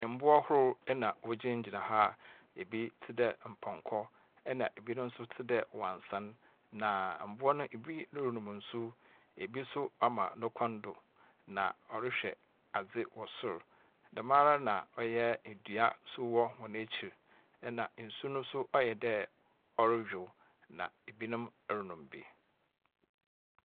Mmboa horow na wogyina gyina ha. Ebi tsedɛ mpɔnkɔ ɛna ebinom nso tsedɛ wansan. Na mboa no ebi renom nsu, ebi so ama n'ekɔn do na ɔrehwɛ adze wɔ sor. Dɛm ara na ɔyɛ edua so wɔ wɔn ekyir. Na nsu no so ɔyɛdɛ ɔreywow, na ebinom so renom bi.